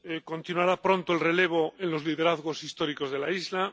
Continuará pronto el relevo en los liderazgos históricos de la isla.